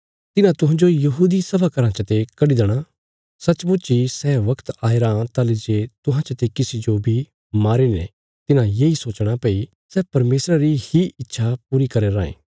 तिन्हां तुहांजो यहूदी सभा घराँ चते कडी देणा सचमुच इ सै बगत आया रां ताहली जे तुहां चते किसी जो बी मारीने तिन्हां येई सोचणा भई सै परमेशरा री ही इच्छा पूरी करया रायें